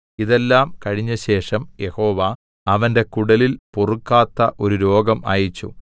ഇതെല്ലാം കഴിഞ്ഞശേഷം യഹോവ അവന്റെ കുടലിൽ പൊറുക്കാത്ത ഒരു രോഗം അയച്ചു